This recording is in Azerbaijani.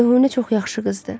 Ceyhunə çox yaxşı qızdır.